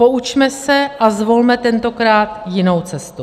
Poučme se a zvolme tentokrát jinou cestu.